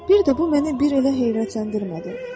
Bir də bu məni elə heyrətləndirmədi.